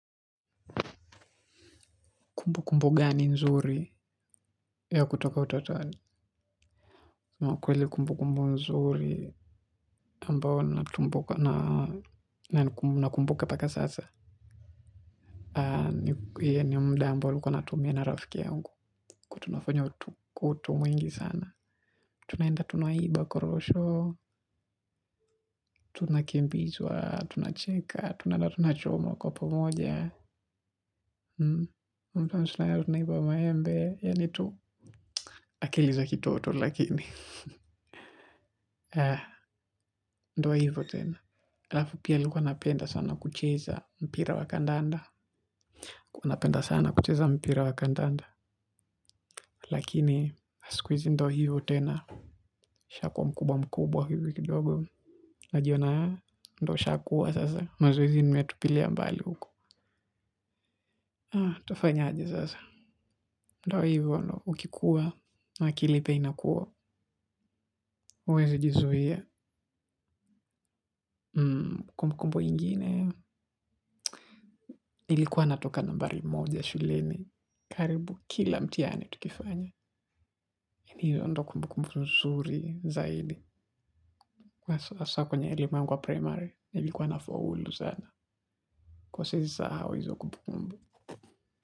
Kumbukumbu gani nzuri ya kutoka utotoni. Kweli kumbukumbu nzuri ambao nakumbuka mpaka sasa. Hii ni muda ambao nilikuwa natumia na rafiki yangu. Kuwa tunafanya kutu mwingi sana. Tunaenda tunaiba korosho. Tunakimbizwa. Tunachecka. Tunaenda tunachoma kwa pamoja. Mtu tunaenda na tunaiba maembe. Yani tu akili za kitoto lakini. Ndio hivyo tena. Halafu pia nilikuwa napenda sana kucheza mpira wa kandanda. Kuwa napenda sana kucheza mpira wa kandanda. Lakini siku hizi ndio hivyo tena. Shakuwa mkubwa mkubwa hivyo kidogo. Najiona. Ndio ushakuwa sasa. Mazoezi nimeyatupilia mbali huko. Utafanyaje sasa? Ndio hivyo ndio ukikuwa. Akili pia inakuwa huwezi jizuia. Kumbukumbu ingine ilikuwa natoka nambari moja shuleni karibu kila mtihani tukifanya. Hilo ndio kumbukumbu nzuri zaidi. Basi hasa kwenye ulimwengu wa primary ilikuwa nafaulu sana. Kuwa siezi sahau hizo kumbukumbu.